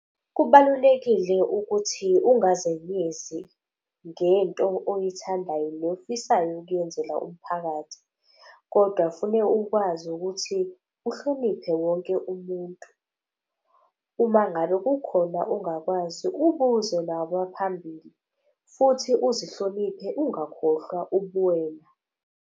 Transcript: Kubalulekile ukuthi ungazenyezi ngento oyithandayo nofisayo ukuyenzela umphakathi. Kodwa fune ukwazi ukuthi uhloniphe wonke umuntu. Uma ngabe kukhona ongakwazi ubuze naba phambili futhi uzihloniphe, ungakhohlwa ubuwena.